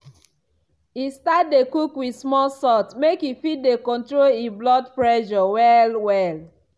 e start dey cook wit small salt make e fit dey control e blood pressure well well.